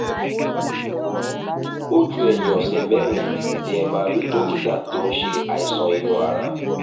ojú ẹ̀yìn ọ̀sẹ̀ mẹ́rin ni ẹ máa rí dókítà tó ń ṣe àìsàn inú ara